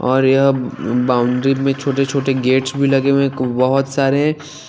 और यहाँ बाउंडरी में छोटे छोटे गेट्स भी लगे हुए है ब होत सारे --